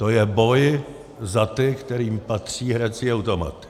To je boj za ty, kterým patří hrací automaty.